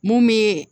Mun be